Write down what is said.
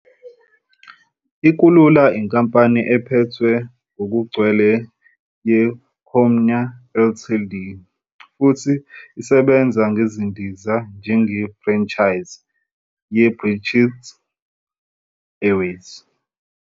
I-Kulula yinkampani ephethwe ngokugcwele ye-Comair Ltd, futhi esebenza ngezindiza njenge-franchisee ye-British Airways.